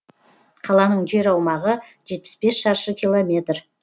қаланың жер аумағы жетпіс бес шаршы километр